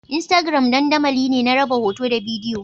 Instagram dandamali ne na raba hoto da bidiyo